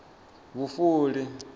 vhufuli